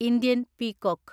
Indian peacock